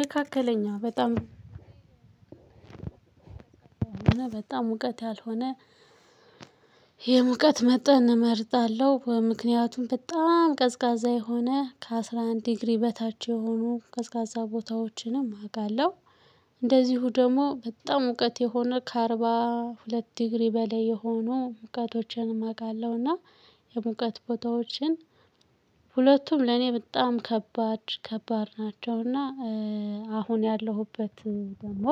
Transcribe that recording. መካከለኛ በጣም በጣም ሙቀት ያልሆነ የሙቀት መጠን እመርጣለሁ ምክንያቱም በጣም ቀዝቃዛ የሆነ ከአስራ አንድ ዲግሪ በታች የሆኑ ቀዝቃዛ ቦታዎችንም አውቃለሁ። እንደዚሁ ደግሞ በጣም ሙቀት የሆነ ከአርባ ሁለት ዲግሪ በላይ የሆኑ ሙቀቶችን አውቃለሁ እና የሙቀት ቦታዎችን ሁለቱም ለኔ በጣም ከባድ ከባድ ናቸው። እና አሁን ያለሁበት ደግሞ